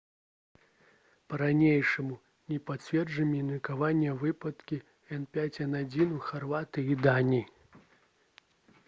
па-ранейшаму не пацверджаны меркаваныя выпадкі h5n1 у харватыі і даніі